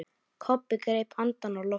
Kobbi greip andann á lofti.